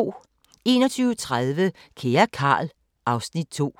21:30: Kære Carl... (Afs. 2)